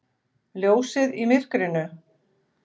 Ljósið í myrkrinu.